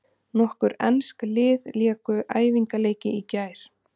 Nokkur ensk lið léku æfingaleiki í gær.